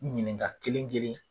Ɲininka kelen kelen